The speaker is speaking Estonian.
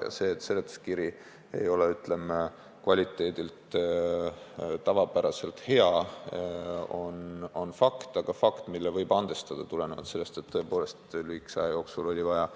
Ja asjaolu, et seletuskirja kvaliteet ei ole tavapäraselt hea, on fakt – aga fakt, mille võib andestada, kuna lühikese aja jooksul oli vaja